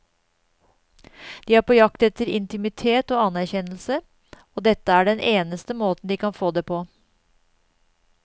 De er på jakt etter intimitet og anerkjennelse, og dette er den eneste måten de kan få det på.